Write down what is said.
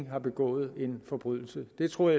har begået en forbrydelse det troede